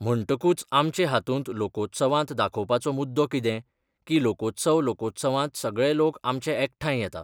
म्हणटकूच आमचे हातूंत लोकोत्सवांत दाखोवपाचो मुद्दो कितें की लोकोत्सव लोकोत्सवांत सगळे लोक आमचे एकठांय येता.